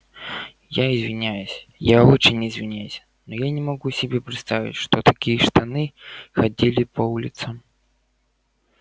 я извиняюсь я очень извиняюсь но я не могу себе представить что такие штаны ходили по улицам